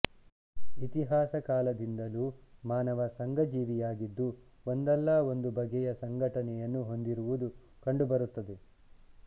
ಇತಿಹಾಸಕಾಲದಿಂದಲೂ ಮಾನವ ಸಂಘ ಜೀವಿಯಾಗಿದ್ದು ಒಂದಲ್ಲ ಒಂದು ಬಗೆಯ ಸಂಘಟನೆಯನ್ನು ಹೊಂದಿರುವುದು ಕಂಡುಬರುತ್ತದೆ